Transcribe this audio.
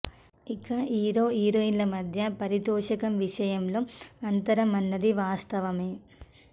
ఇక హీరో హీరోయిన్ల మధ్య పారితోషకం విషయంలో అంతరం అన్నది వాస్తవమే